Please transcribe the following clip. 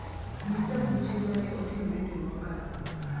nyisa buche mane otimore dwe mokalo